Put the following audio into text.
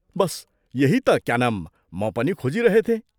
बस, यही ता क्या नाम म पनि खोजिरहेथें।